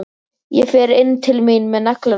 Ég fer inn til mín með neglurnar.